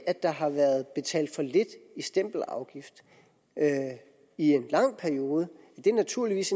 at der har været betalt for lidt i stempelafgift i en lang periode naturligvis